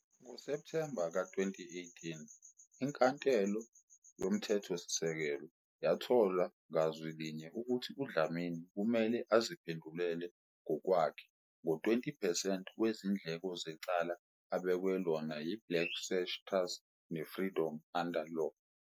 NgoSepthemba ka-2018 iNkantolo yoMthethosisekelo yathola ngazwi linye ukuthi uDlamini kumele aziphendulele ngokwakhe ngo-20 percent wezindleko zecala abekwe lona yiBlack Sash Trust neFreedom Under Law.